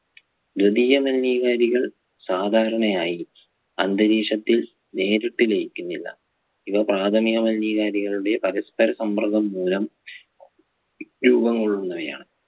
ദ്വീദീയ മലിനീകാരികൾ സാധാരണയായി അന്തരീക്ഷത്തിൽ നേരിട്ട് ലയിക്കുന്നില്ല. ഇവ പ്രാഥമിക മലിനീകാരികളുടെ പരസ്പര സമ്മർദ്ദം മൂലം രൂപംകൊള്ളുന്നവയാണ്.